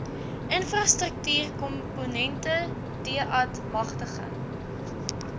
infrastruktuurkomponente deat magtiging